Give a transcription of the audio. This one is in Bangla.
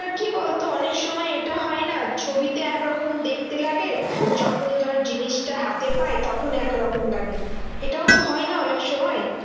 কি বলতো? অনেক সময় এটা হয় না? ছবিতে এক রকম দেখতে লাগে, যখন ধর জিনিসটা হাতে পাই তখন একরকম লাগে। এটাওতো হয় না অনেকসময়?